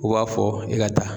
U b'a fɔ i ka taa.